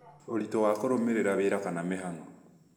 ũritũ wa kũrũmĩrĩra wĩra kana mĩhang'o